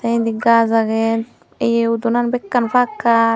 tey endi gaas agey yea udonan bekkan pakkar.